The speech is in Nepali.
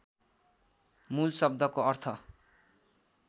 मूल शब्दको अर्थ